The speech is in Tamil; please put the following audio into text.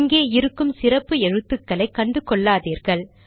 இங்கு இருக்கும் சிறப்பு எழுத்துக்களை கண்டுகொள்ளாதீர்கள்